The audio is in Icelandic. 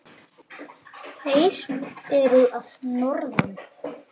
Þeir eru að norðan.